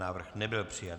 Návrh nebyl přijat.